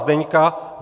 Zdeňka